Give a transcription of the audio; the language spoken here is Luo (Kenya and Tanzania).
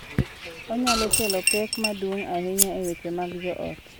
Onyalo kelo pek maduong’ ahinya e weche mag joot.